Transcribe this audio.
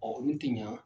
Ɔ olu tɛ ɲa